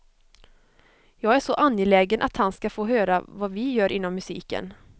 Jag är så angelägen att han ska få höra vad vi gör inom musiken.